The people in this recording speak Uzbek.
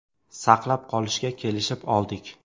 saqlab qolishga kelishib oldik.